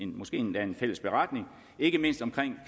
måske endda en fælles beretning ikke mindst om